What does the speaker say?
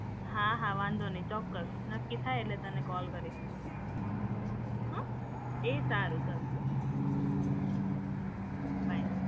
હા, હા વાંધો નહીં ચોક્કસ નક્કી થાય એટલે તને કોલ કરીશ. હો? એ સારું ચલ. બાય.